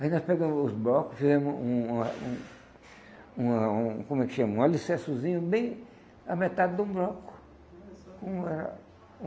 Aí nós pegamos os blocos e fizemos um uma um uma um, como é que chama? Um alicercezinho bem à metade de um bloco. Com a